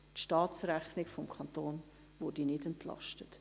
die Staatsrechnung des Kantons würde nicht entlastet.